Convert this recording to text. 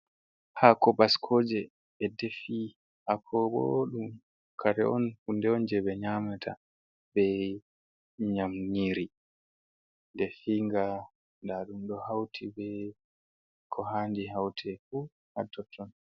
Hako baskoje ɓe defi hako bo kare on hunde on je ɓe nyamata be nyiri nyamdu defi nga nda ɗum ɗo hauti be ko handi haute fu hatotton.